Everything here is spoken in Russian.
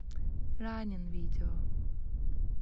раннин видео